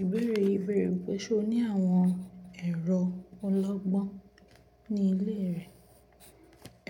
Ìbéèrè ìbéèrè wípé ṣé o ní àwọn ẹ̀rọ ọlọ́gbọ́n ní ilé rẹ?